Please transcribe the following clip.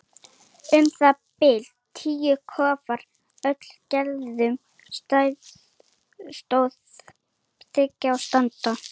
Um það bil tíu kofar af öllum gerðum og stærðum stóðu í þyrpingu á sandinum.